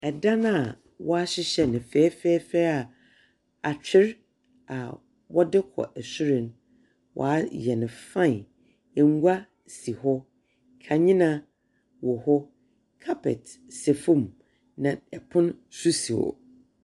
Ɛdan a wɔahyehyɛ no fɛɛfɛɛfɛ a atwer a wɔde kɔ sor no, wɔayɛ no fine. Ngua si hɔ. Kanyena wɔ hɔ. Carpet sɛ fam, na pon nso si hɔ.